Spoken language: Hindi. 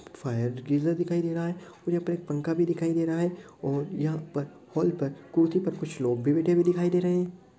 दिखाई दे रहा है और यहाँ पर एक पंखा भी दिखाई दे रहा है और यहां पर हॉल पर कुर्सी पर कुछ लोग बैठे हुए दिखाई दे रहे हैं।